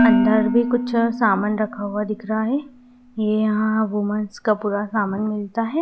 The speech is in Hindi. अंदर भी कुछ सामान रखा हुआ दिख रहा है यहां वूमेंस का पूरा सामान मिलता है।